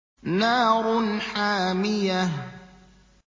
نَارٌ حَامِيَةٌ